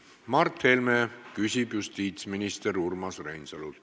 Mart Helme küsib justiitsminister Urmas Reinsalult.